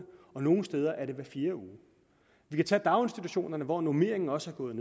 og nogle steder er det hver fjerde uge vi kan tage daginstitutionerne hvor normeringen også er gået